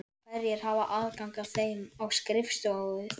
Hverjir hafa aðgang að þeim á skrifstofu þinni?